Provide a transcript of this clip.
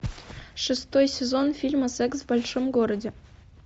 шестой сезон фильма секс в большом городе